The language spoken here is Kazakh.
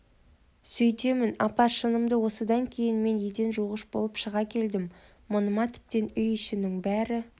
сөйтемін апа шынында осыдан кейін мен еден жуғыш болып шыға келдім мұныма тіптен үй ішінің бәрі